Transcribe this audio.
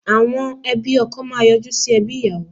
Àwọn ẹbí ọkọ máa yọjú sí ẹbí ìyàwó